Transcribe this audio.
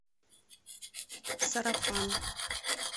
сарафан